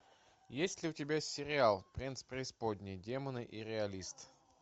есть ли у тебя сериал принц преисподней демоны и реалист